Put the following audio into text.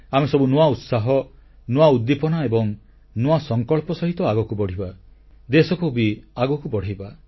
ଆମେ ସବୁ ନୂଆ ଉତ୍ସାହ ନୂଆ ଉଦ୍ଦୀପନା ଓ ନୂଆ ସଂକଳ୍ପ ସହିତ ଆଗକୁ ବଢ଼ିବା ଦେଶକୁ ବି ଆଗକୁ ବଢ଼େଇବା